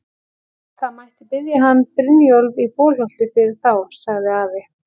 Það mætti biðja hann Brynjólf í Bolholti fyrir þá, sagði afi.